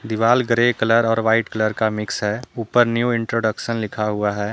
दीवाल grey colour और white colour का मिक्स है ऊपर न्यू इंट्रोडक्शन लिखा हुआ है।